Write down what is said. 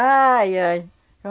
Ai, ai. É